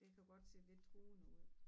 Det kan godt se lidt truende ud